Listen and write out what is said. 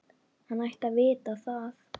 Hann ætti að vita það.